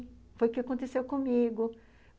Foi o que aconteceu comigo.